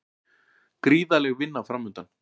Gríðarleg vinna framundan